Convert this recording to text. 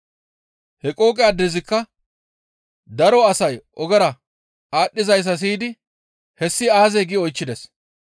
He qooqe addezikka daro asay ogera aadhdhizayssa siyidi, «Hessi aazee?» gi oychchides.